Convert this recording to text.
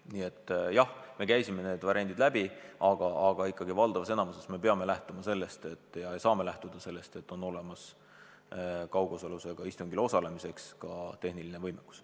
Nii et jah, me käisime need variandid läbi, aga ikkagi me peame suurel määral lähtuma sellest, et kaugosalusega istungil osalemiseks on olemas ka tehniline võimekus.